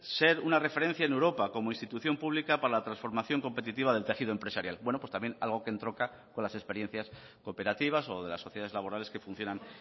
ser una referencia en europa como institución pública para la transformación competitiva del tejido empresarial bueno pues también algo que entronca con las experiencias cooperativas o de las sociedades laborales que funcionan